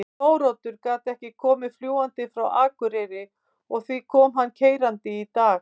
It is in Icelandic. Þóroddur gat ekki komið fljúgandi frá Akureyri og því kom hann keyrandi í dag.